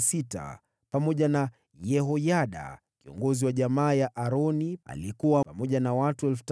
pamoja na Yehoyada, kiongozi wa jamaa ya Aroni, aliyekuwa pamoja na watu 3,700,